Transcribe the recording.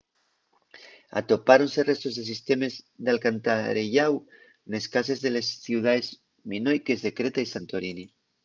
atopáronse restos de sistemes d’alcantarelláu nes cases de les ciudaes minoiques de creta y santorini